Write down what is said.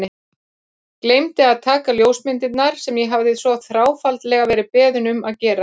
Gleymdi að taka ljósmyndirnar sem ég hafði svo þráfaldlega verið beðinn um að gera.